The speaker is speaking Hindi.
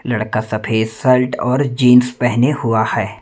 लड़का सफेद शर्ट और जींस पहेने हुआ है।